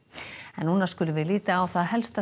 þá skulum við líta á það helsta